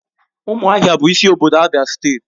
Ụmụahia bụ isi obodo Abia steeti.